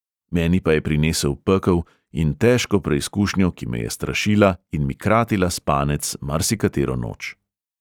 Meni pa je prinesel pekel in težko preizkušnjo, ki me je strašila in mi kratila spanec marsikatero noč.